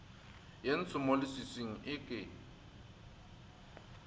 ye ntsho mo leswiswing eke